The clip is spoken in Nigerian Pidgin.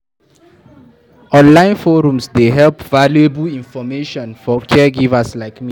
Online forums dey provide valuable information for caregivers like me.